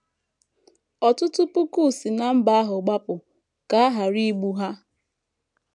Ọtụtụ puku si ná mba ahụ gbapụ ka a ghara igbu ha.